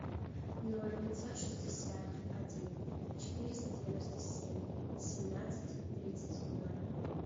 ноль пятьсот шестьдесят один четыреста девяносто семь семнадцать тридцать ноль